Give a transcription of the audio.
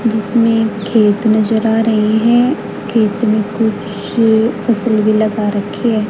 जिसमें खेत नजर आ रहे है खेत में कुछ फसल भी लगा रखी--